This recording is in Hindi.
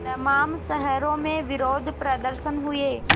तमाम शहरों में विरोधप्रदर्शन हुए